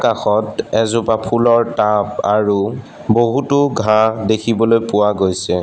কাষত এজোপা ফুলৰ টাব আৰু বহুতো ঘাঁহ দেখিবলৈ পোৱা গৈছে।